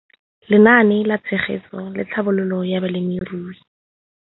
Lenaane la Tshegetso le Tlhabololo ya Balemirui